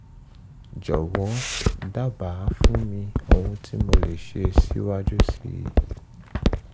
jọ̀wọ́ dábàá fún mi ohun tí mo lè mo lè ṣe síwájú sí i